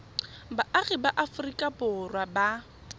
baagi ba aforika borwa ba